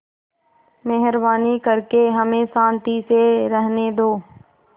मेहरबानी करके हमें शान्ति से रहने दो